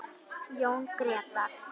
Jón Grétar.